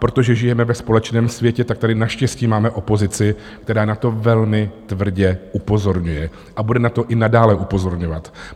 Protože žijeme ve společném světě, tak tady naštěstí máme opozici, která na to velmi tvrdě upozorňuje a bude na to i nadále upozorňovat.